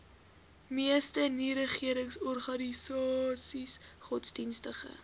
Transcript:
meeste nieregeringsorganisasies godsdienstige